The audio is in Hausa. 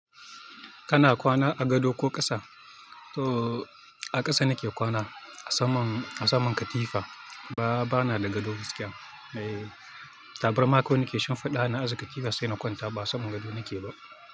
Kana kwana a gado ko ƙasa? Ooh, a ƙasa nake kwana a saman, a saman katifa. Ba, bana da gado gaskiya. Ae, tabarma kawai nake shimfiɗawa na aza katifa saina ƙwanta. Ba'a saman gado nake ba.